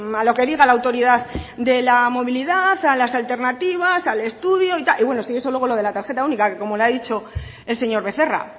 a lo que diga la autoridad de la movilidad a las alternativas al estudio y bueno si eso luego lo de la tarjeta única que como le ha dicho el señor becerra